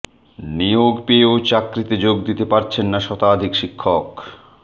নিয়োগ পেয়েও চাকরিতে যোগ দিতে পারছেন না শতাধিক শিক্ষক